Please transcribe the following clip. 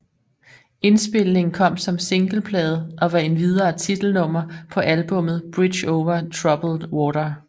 Indspilningen kom som singleplade og var endvidere titelnummer på albummet Bridge over Troubled Water